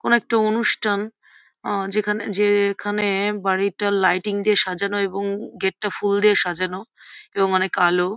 কোনো একটি অনুষ্ঠান আ যেখানে যে-এ খানে-এ বাড়িটা লাইটিং দিয়ে সাজানো এবং গেট -টা ফুল দিয়ে সাজানো এবং অনেক আলো।